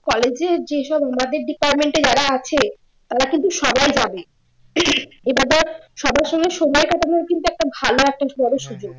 college এ যেসব আমাদের department এ যারা আছে তারা কিন্তু সবাই যাবে সবার সঙ্গে সময় কাটানোর কিন্তু একটা ভালো একটা বড় সুযোগ